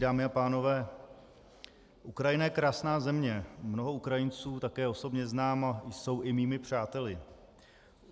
Dámy a pánové, Ukrajina je krásná země, mnoho Ukrajinců také osobně znám a jsou i mými přáteli.